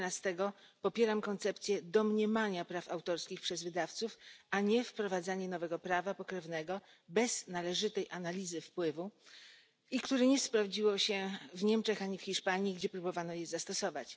11 popieram koncepcję domniemania praw autorskich przez wydawców, a nie wprowadzanie nowego prawa pokrewnego bez należytej analizy wpływu i które nie sprawdziło się ani w Niemczech, ani w Hiszpanii, gdzie próbowano je zastosować.